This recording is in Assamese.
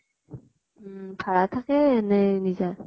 উম । ভাড়া থাকে নে নিজা ?